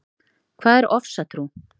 Hvað er ofsatrú?